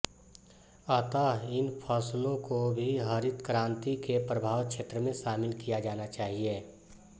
अतः इन फसलों को भी हरित क्रान्ति के प्रभाव क्षेत्र में शामिल किया जाना चाहिए